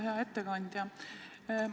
Hea ettekandja!